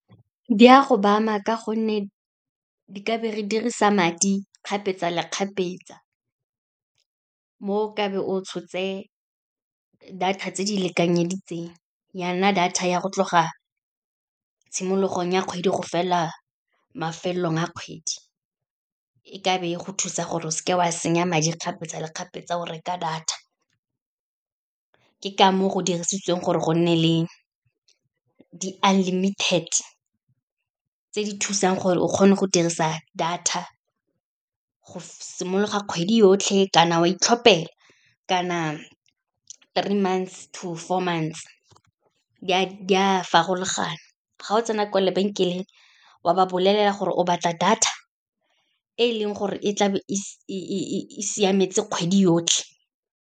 Di a go ba ama ka gonne di ka be re dirisa madi kgapetsa le kgapetsa, mo ka be o tshotse data tse di lekanyeditseng ya nna data ya go tloga tshimologong ya kgwedi go fela mafelong a kgwedi, e ka be e go thusa gore o seke wa senya madi kgapetsa le kgapetsa go reka data. Ke ka moo go dirisitsweng gore go nne le di-unlimited tse di thusang gore o kgone go dirisa data go simologa kgwedi yotlhe, kana wa itlhopela, kana three months to four months, di a farologana. Ga o tsena kwa lebenkeleng, wa ba bolelela gore o batla data e leng gore e tla be e siametse kgwedi yotlhe.